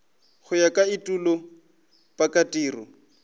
go ya ka etulo pakatiro